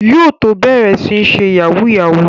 Yóò tó bẹ̀rẹ̀ sí ń ṣe Yahoo yahoo